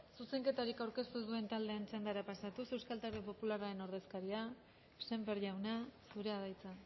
zuzenketarik aurkeztu ez duen taldeen txandara pasatuz euskal talde popularraren ordezkaria sémper jauna zurea da hitza